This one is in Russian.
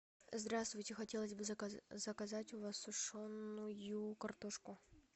здравствуйте хотелось бы заказать у вас сушеную картошку